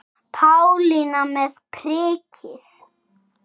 Pálína með prikið